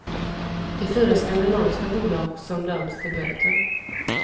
Det är fyra skandinaviska bolag som döms till böter.